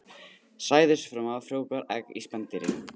Sæðisfruma frjóvgar egg í spendýri.